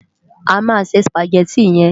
Lò sé Sùpágèti yèn